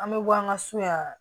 An bɛ bɔ an ka so yan